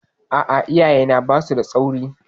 A'a, iyayena ba su da tsauri.